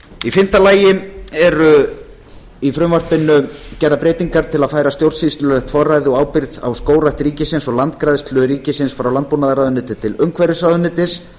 í fimmta lagi eru í frumvarpinu breytingar til að færa stjórnsýslulegt forræði og ábyrgð á skógrækt ríkisins og landgræðslu ríkisins frá landbúnaðarráðuneyti til umhverfisráðuneytis